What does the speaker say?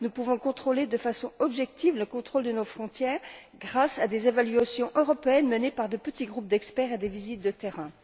Nous pouvons exercer de façon objective un contrôle à nos frontières grâce à des évaluations européennes menées par de petits groupes d'experts et des visites de terrain.